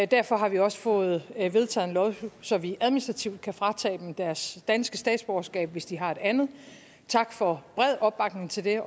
derfor har vi også fået vedtaget en lov så vi administrativt kan fratage dem deres danske statsborgerskab hvis de har et andet tak for bred opbakning til det